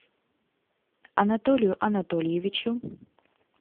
анатолию анатольевичу